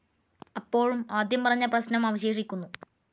അപ്പോഴും ആദ്യം പറഞ്ഞ പ്രശ്നം അവശേഷിക്കുന്നു.